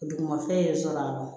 Dugumafɛn ye sɔrɔ